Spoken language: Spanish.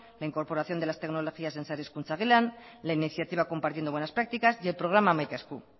la incorporación de las tecnologías en sare hezkuntza gelan la iniciativa compartiendo buenas prácticas y el programa hamaika esku